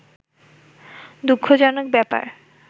দুঃখজনক ব্যাপার